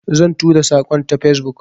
Zan tura saƙon ta Facebook.